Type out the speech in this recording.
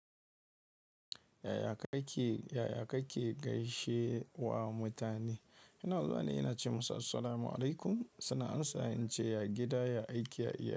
Yaya kake, yaya kake gaishe wa mutane? Ina zuwa ne, ina ce masu assalamu alaikum. Suna amsawa in ce ya gida, ya aiki, ya iyali.